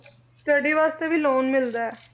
Study ਵਾਸਤੇ ਵੀ loan ਮਿਲਦਾ ਹੈ